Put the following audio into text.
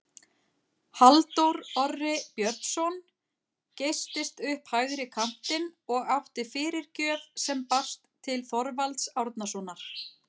Halldór Orri Björnsson geystist upp hægri kantinn og átti fyrirgjöf sem barst til Þorvalds Árnasonar.